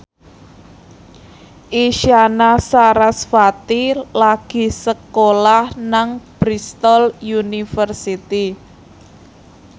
Isyana Sarasvati lagi sekolah nang Bristol university